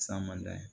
Samada ye